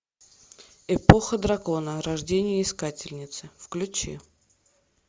эпоха дракона рождение искательницы включи